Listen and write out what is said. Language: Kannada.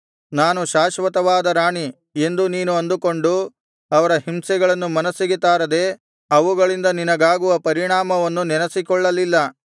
ನಾನು ಶಾಶ್ವತವಾದ ರಾಣಿ ಎಂದು ನೀನು ಅಂದುಕೊಂಡು ಅವರ ಹಿಂಸೆಗಳನ್ನು ಮನಸ್ಸಿಗೆ ತಾರದೆ ಅವುಗಳಿಂದ ನಿನಗಾಗುವ ಪರಿಣಾಮವನ್ನು ನೆನಸಿಕೊಳ್ಳಲಿಲ್ಲ